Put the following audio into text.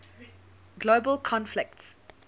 global conflicts